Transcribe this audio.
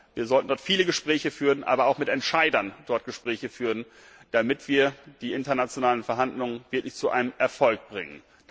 Wir sollten dort viele Gespräche führen, aber auch mit Entscheidern dort Gespräche führen, damit wir die internationalen Verhandlungen wirklich zu einem Erfolg bringen.